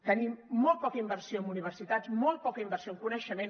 tenim molt poca inversió en universitats molt poca inversió en coneixement